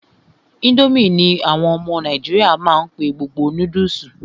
Ińdómì ní àwọn ọmọ nàìjíríà má n pé gbogbo noodles.